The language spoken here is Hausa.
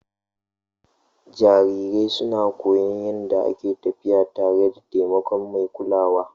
Jarirai suna koyon yadda ake tafiya tare da taimakon mai kulawa.